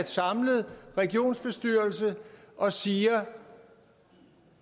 samlede regioner og siger